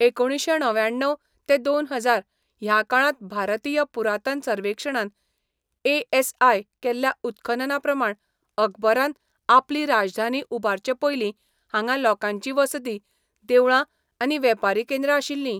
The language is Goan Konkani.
एकुणशें णव्याण्णव ते दोन हजार ह्या काळांत भारतीय पुरातन सर्वेक्षणान ए एस आय केल्ल्या उत्खननाप्रमाण अकबरान आपली राजधानी उबारचे पयलीं हांगां लोकांची वसती, देवळां आनी वेपारी केंद्रां आशिल्लीं.